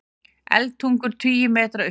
Eldtungur tugi metra upp í loft